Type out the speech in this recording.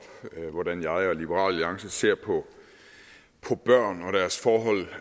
hvordan jeg og liberal alliance ser på børn og deres forhold